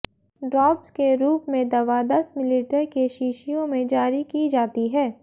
drops के रूप में दवा दस मिलीलीटर के शीशियों में जारी की जाती है